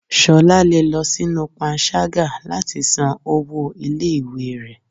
Ṣọlá le lọ sinú pánṣagá latí san ọwọ ìlé-ìwé rẹ.